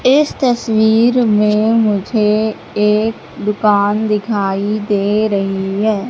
इस तस्वीर में मुझे एक दुकान दिखाई दे रही है।